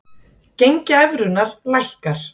Gengi evrunnar lækkar